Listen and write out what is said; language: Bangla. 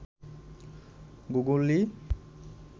গুগলি